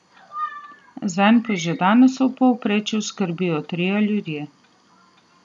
Zanj pa že danes v povprečju skrbijo trije ljudje.